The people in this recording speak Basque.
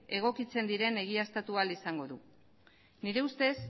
egokitzen diren egiaztatu ahal izango du nire ustez